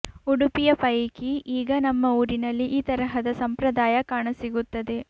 ಉಡುಪಿಯ ಪೈಕಿ ಈಗ ನಮ್ಮ ಊರಿನಲ್ಲಿ ಈ ತರಹದ ಸಂಪ್ರದಾಯ ಕಾಣಸಿಗುತ್ತದೆ